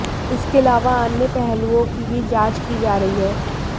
इसके अलावा अन्य पहलुओं की भी जांच की जा रही है